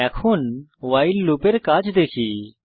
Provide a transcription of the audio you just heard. এখন while loop এর কাজ দেখি